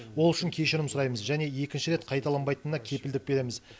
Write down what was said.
ол үшін кешірім сұраймыз және екінші рет қайталанбайтынына кепілдік береміз